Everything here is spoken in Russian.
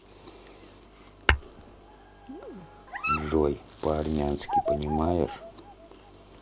джой по армянски понимаешь